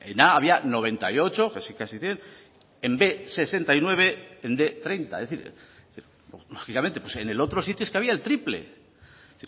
en a había noventa y ocho casi casi cien en b hirurogeita bederatzi en bostehun hogeita hamar es decir lógicamente en el otro sitio es que había el triple es